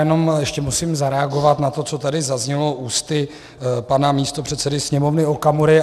Jenom ještě musím zareagovat na to, co tady zaznělo ústy pana místopředsedy Sněmovny Okamury.